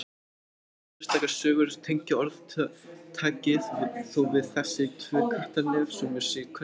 Engar sérstakar sögur tengja orðtakið þó við þessi tvö Kattarnef svo mér sé kunnugt.